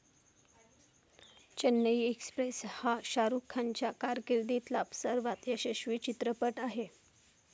Chennai express हा शाहरुखच्या कारकिर्दीतला सर्वात यशस्वी चित्रपट आहे.